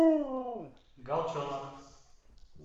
галчонок